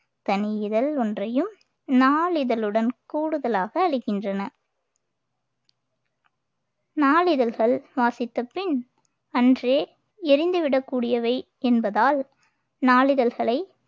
தனி இதழ் ஒன்றையும் நாளிதழுடன் கூடுதலாக அளிக்கின்றன நாளிதழ்கள் சுவாசித்த பின் அன்றே எறிந்து விடக்கூடியவை என்பதால் நாளிதழ்களை